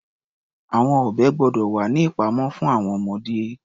Àwọn ọ̀bẹ gbọ́dọ̀ wà ní ìpamọ́ fún àwọn ọmọdé.